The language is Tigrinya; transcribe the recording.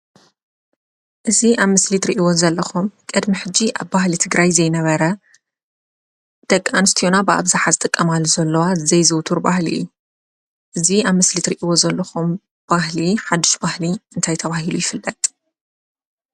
እዚ ኣብ ምስሊ እትሪእዎ ዘለኩም ቅድሚ ሕጂ ኣብ ባህሊ ትግራይ ዘይነበረ ደቂ ኣነስትዮና ብኣብዛሓ ዝጥቀማሉ ዘለዋ ዘይዝውተር ባህሊ እዩ፡፡ እዚ ኣብ ምስሊ እትሪእዎ ዘለኹም ባህሊ ሓዱሽ ባህሊ እንታይ ተባሂሉ ይፍለጥ?